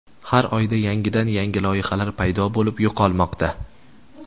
Har oyda yangidan-yangi loyihalar paydo bo‘lib, yo‘qolmoqda.